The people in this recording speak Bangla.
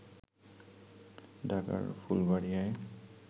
ঢাকার ফুলবাড়ীয়ায়